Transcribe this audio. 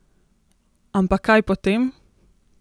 Ampak kaj potem?